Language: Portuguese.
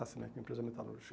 Racimec, empresa metalúrgica.